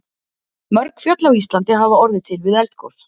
Mörg fjöll á Íslandi hafa orðið til við eldgos.